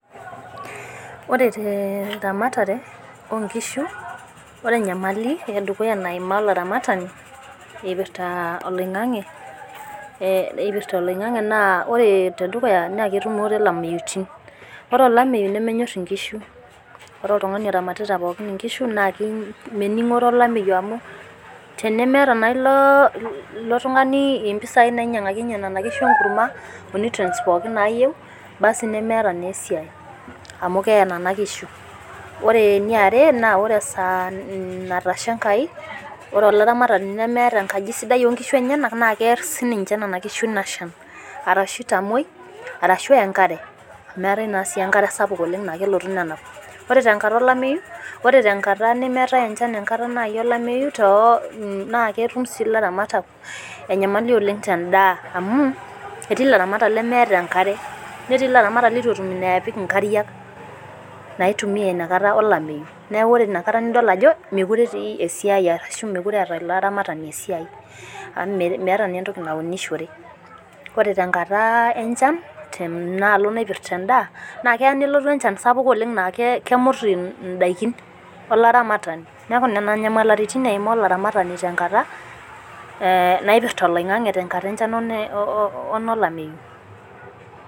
Ore teramatare oo nkishu, ore enyamali e dukuya naimaa olaramatani, eipirta oloing'ang'e, naa ore tedukuya naa ketumore ilameitin. Ore olameyu, nemenyor inkishu, Ore oltung'ani oramatita pookin inkishu naake mening'ore olameyu amu tenemeata naa ilo tung'ani impisai nainyang'akinye nena kishu enkurma, o nutrients pooki nayyieu, basi nemeata naa esiai, amu kee nena kishu. Ore ene are, naa ore esaa natasha Enkai, ore olaramatani lemeata enkaji sidai oo nkishu enyena naa kear sii ninye nena kishu ina shan, arashu eitamwoi, arashu eya enkare, amu eata naa enkare sapuk naa kelotu nenap. Ore tenkata olameyu, tenkata naaji nemeatai enchan, naa ketum sii ilairamatak enyamali oleng' tendaa, amu etii ilaramatak lemeata enkare, netii ilaramatak lemeata iweujitin naapik inkariak, naitumiya ina kata olameyu, neaku ore ina kata nidol ajo, mekuree etii esiai, arashu mekure eata ilo aramatani esiai, anaa meata naa entoki naunishore. Ore tenkata enchan, tenaalo naipirta endaa, naakelo nelo enchan sapuk naa kemut indaikin olaramatani, neaku nena nyamaliritin eimaa olaramatani tenkata naipirta oloing'ang'e o tenkata olameyu.